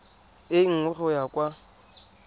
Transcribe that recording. e nngwe go ya kwa